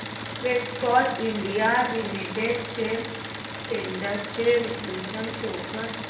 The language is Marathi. Castrol India limited shares trends चे विश्लेषण शो कर